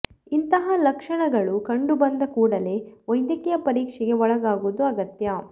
ಇಂತಹ ಲಕ್ಷಣಗಳು ಕಂಡು ಬಂದ ಕೂಡಲೇ ವೈದ್ಯಕೀಯ ಪರೀಕ್ಷೆಗೆ ಒಳಗಾಗುವುದು ಅಗತ್ಯ